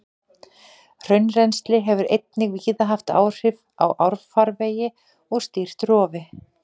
Hraunrennsli hefur einnig víða haft áhrif á árfarvegi og stýrt rofi.